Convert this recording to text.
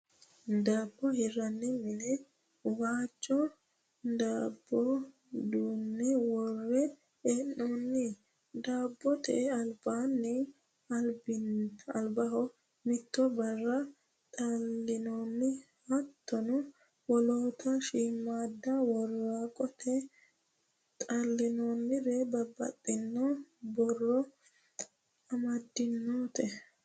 Daabbo hirranni mine waajjo daabbo duunne worre hee'noonni. Daabbote albaanni albiha mitto birra xallinoonni. Hattono wolootta shiimaadda woraqatta xallinoonniri babaxitino borro amaddinoreeti